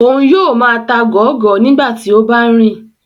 Oun yoo máa ta gọọgọ nigbati o ba nrin